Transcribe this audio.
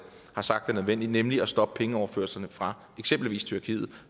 har sagt er nødvendigt nemlig at stoppe pengeoverførslerne fra eksempelvis tyrkiet